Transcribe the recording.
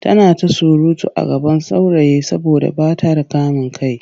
Tana ta surutu a gaban saurayi saboda ba ta da kamin kai.